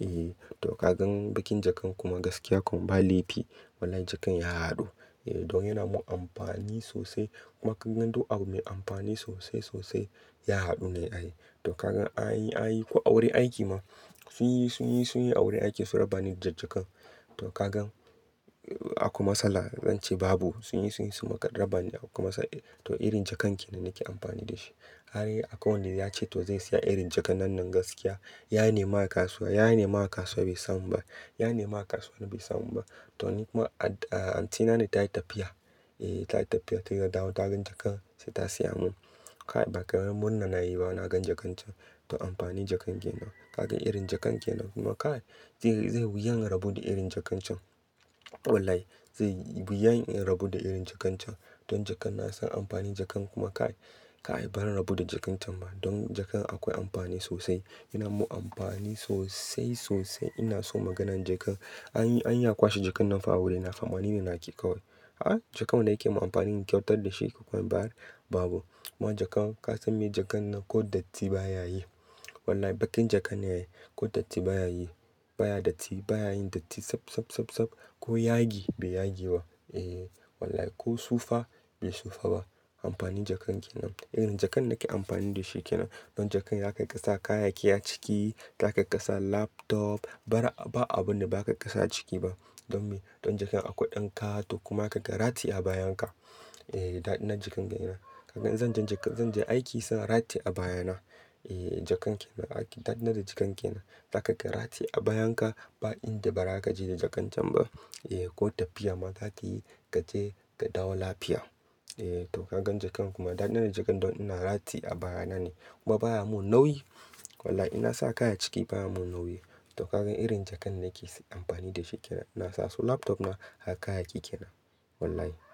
Eh toh, kagan baƙin jakan kuma gaskiya kam ba laifi. Wallahi jakan ya haɗu. Eh don yana mun amfani sosai. Kuma kagan duk abu mai amfani sosai-sosai ya haɗu ne a yi. Toh kagan an yi, an yi ko awurin aiki ma sun yi, sun yi, sun yi awurin aiki su raba ni da jakan. Toh, kagan akwai matsala zan ce babu. Sun yi, sun yi su raba ni akwai ma. To irin jakan kenan nake amfani da shi. Har akwai wanda ya ce to zai siya irin jaka nan nan gaskiya. Ya nema a kasuwa, ya nema a kasuwa bai samu ba. Ya nema a kasuwa bai samu ba. Toh, kuma auntyna ne tayi tafiya. Eh, tayi tafiya ta dawo ta gan jakan sai ta siya mun. Kai bakaramin murna nayi ba na gan jakan can. Toh, amfani jakan kenan. Kagan irin jakan kenan, kuma kai zai wuya in rabu da irin jakan can. Wallahi, zaiyi wuya in rabu da irin jakan can. Don jakan na san amfani jakan kuma kai, kai baran rabu da jakan can ba. Don jakan akwai amfani sosai. Yana mun amfani sosai sosai. Ina so maganan jaka. An yi, an yi akwashe jakan nan fa a wuri na fa. Amma ni ne naki kawai. A jakan mana nake mun amfani in kyautar da shi akwai baya. Babu. Kuma jaka ka san me? Jakan nan ko datti ba ya yi. Wallahi baƙin jaka ne. Ko datti ba ya yi. Ba ya datti. Ba ya yin datti sab, sab, sab, sab. Ko yage bai yage ba. Eh wallahi ko sufa bai sufa ba. Amfani jakan kenan. Irin jakan nake amfani da shi kenan. Don jakan ya kai ka sa kayayyaki a ciki. Ya kai ka sa laptop. Bara, ba abun da ba ka sa a ciki ba. Don me? Don jaka akwai ɗan kato kuma za ka iya ka ratiya a bayan ka. Eh daɗaɗa jaka kenan. Kagan zan je, zan je aiki sai na ratiya a baya na. Eh jakan kenan. Daɗi na da jakan kenan. Zaka iya ka ratiye a bayan ka, ba inda ba zaka je da jakan can ba. Eh ko tafiya ma zaka yi kaje ka dawo lafiya. Eh to kagan jakan kuma daɗi na da jakan don ina ratiye a baya na ne kuma baya mun nauyi. Wallahi ina sa kaya a ciki baya min nauyi. Toh kagan irin jakan nake amfani da shi kenan. Ina sa su laptop na har kayayyaki kenan. Wallahi.